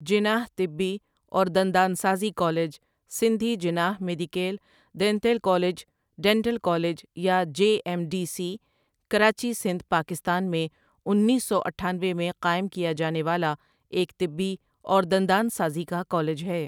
جناح طبی اور دندان سازی college Sindhi Jinnah medical dental college dental college یا J M D C ,Karachi, Sindh Pakistan میں انیس سو اٹھانوے میں قائم کیا جانے والا ایک طبی اور دندان سازی کا کالج ہے ۔